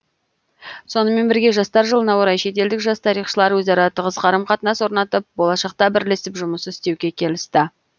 сонымен бірге жастар жылына орай шетелдік жас тарихшылар өзара тығыз қарым қатынас орнатып болашақта бірлесіп жұмыс істеуге келісті